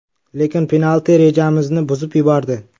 Lekin penalti rejamizni buzib yubordi.